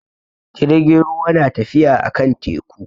Jirgin ruwa na tafiya a kan teku.